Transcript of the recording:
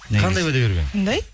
қандай уәде беріп едің қандай